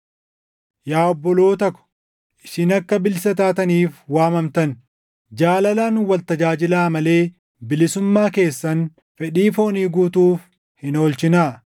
Yaa obboloota ko, isin akka bilisa taataniif waamamtan. Jaalalaan wal tajaajilaa malee bilisummaa keessan fedhii foonii guutuuf hin oolchinaa.